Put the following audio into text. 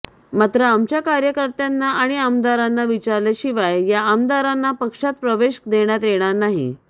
मात्र आमच्या कार्यकर्त्यांना आणि आमदारांना विचारल्याशिवाय या आमदारांना पक्षात प्रवेश देण्यात येणार नाही